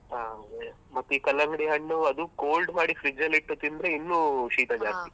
ಹ ಹಾಗೆ ಮತ್ತೆ ಈ ಕಲ್ಲಂಗಡಿ ಹಣ್ಣು ಅದು cold ಮಾಡಿ fridge ಅಲ್ಲಿ ಇಟ್ಟು ತಿಂದ್ರೆ ಇನ್ನೂ ಶೀತ .